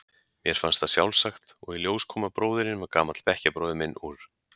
Mér fannst það sjálfsagt og í ljós kom að bróðirinn var gamall bekkjarbróðir minn úr